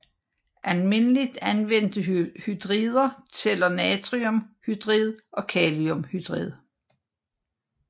Almindeligt anvendte hydrider tæller natriumhydrid og kaliumhydrid